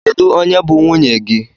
Kedụ onye bụ nwunye gị?